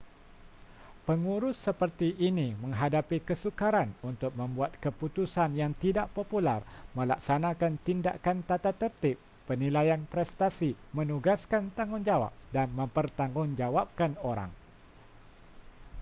pengurus seperti ini menghadapi kesukaran untuk membuat keputusan yang tidak popular melaksanakan tindakan tatatertib penilaian prestasi menugaskan tanggungjawab dan mempertanggungjawabkan orang